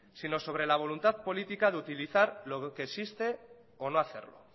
sino sobre la voluntad política de utilizar lo que existe o no hacerlo